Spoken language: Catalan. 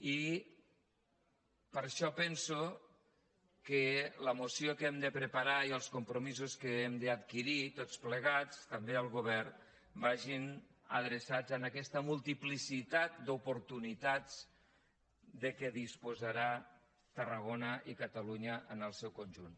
i per això penso que la moció que hem de preparar i els compromisos que hem d’adquirir tots plegats també el govern vagin adreçats a aquesta multiplicitat d’oportunitats de què disposaran tarragona i catalunya en el seu conjunt